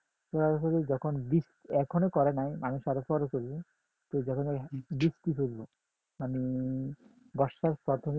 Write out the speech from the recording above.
সরাসরি যখন এখনো করে নাই মানুষ আরো পরে করবে যখন বৃষ্টি পরবে মানে বর্ষার প্রাথমিক দিকে